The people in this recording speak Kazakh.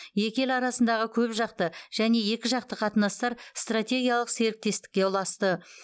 екі ел арасындағы көпжақты және екіжақты қатынастар стратегиялық серіктестікке ұласты